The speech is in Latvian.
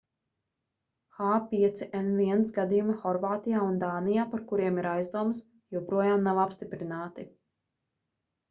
h5n1 gadījumi horvātijā un dānijā par kuriem ir aizdomas joprojām nav apstiprināti